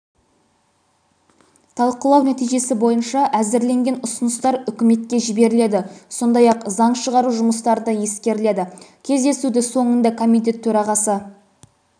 талқылау нәтижесі бойынша әзірленген ұсыныстар үкіметке жіберіледі сондай-ақ заң шығару жұмыстарында ескеріледі кездесуді соңында комитет төрағасы